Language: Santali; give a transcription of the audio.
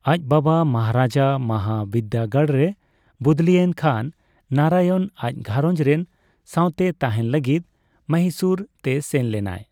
ᱟᱪ ᱵᱟᱵᱟ ᱢᱚᱦᱟᱨᱟᱡᱟ ᱢᱟᱦᱟᱵᱤᱫᱽᱫᱟᱹᱜᱟᱲ ᱨᱮ ᱵᱚᱫᱞᱤᱭᱮᱱ ᱠᱷᱟᱱ ᱱᱟᱨᱟᱭᱚᱱ ᱟᱪ ᱜᱷᱟᱨᱚᱸᱡ ᱨᱮᱱ ᱥᱟᱸᱣᱛᱮ ᱛᱟᱸᱦᱮᱱ ᱞᱟᱹᱜᱤᱫ ᱢᱚᱦᱤᱥᱩᱨ ᱛᱮ ᱥᱮᱱ ᱞᱮᱱᱟᱭ ᱾